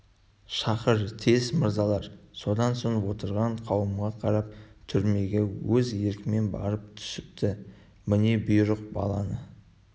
шақыр тез мырзалар одан соң отырған қауымға қарап түрмеге өз еркімен барып түсіпті міне бұйрық баланы